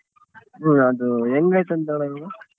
ಹ್ಮ್ ಅದು ಹೆಂಗ್ ಆಯ್ತಂತ ಅಣ್ಣ ಇವಾಗ?